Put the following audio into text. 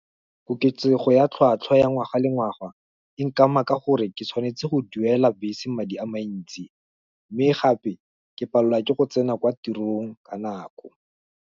Koketsego ya tlhatlhwa ya ngwaga le ngwaga, e nkama ka gore, ke tshwanetse go duela bese madi a mantsi, mme gape, ke palelwa ke go tsena kwa tirong, ka nako.